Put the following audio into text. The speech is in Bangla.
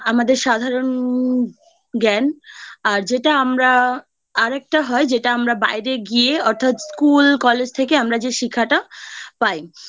Education সাধারণত দুই প্রকারের হয় একটা বাড়ির আ বাড়ির থেকে শেখা যে আ আমাদের সাধারণ জ্ঞান আর যেটা আমরা আরেকটা হয় যেটা আমরা বাইরে গিয়ে অর্থাৎ School College থেকে আমরা যে শেখাটা পাই